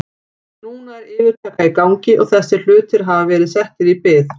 Núna er yfirtaka í gangi og þessir hlutir hafa verið settir í bið.